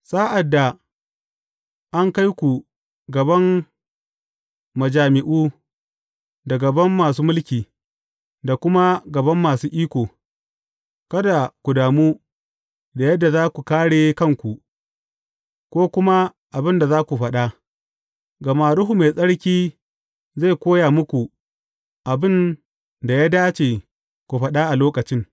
Sa’ad da an kai ku a gaban majami’u, da gaban masu mulki, da kuma gaban masu iko, kada ku damu da yadda za ku kāre kanku, ko kuma abin da za ku faɗa, gama Ruhu Mai Tsarki zai koya muku abin da ya dace ku faɗa a lokacin.